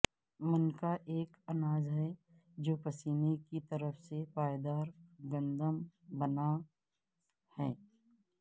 منکا ایک اناج ہے جو پیسنے کی طرف سے پائیدار گندم سے بنا ہے